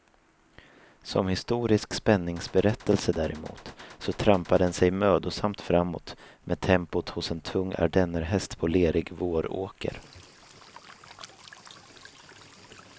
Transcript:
Som historisk spänningsberättelse däremot, så trampar den sig mödosamt framåt med tempot hos en tung ardennerhäst på en lerig våråker.